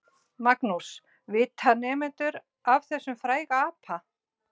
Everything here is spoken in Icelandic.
Magnús: Vita nemendur af þessum fræga apa?